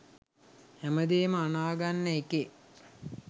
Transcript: හැමදේම අනාගන්න එකේ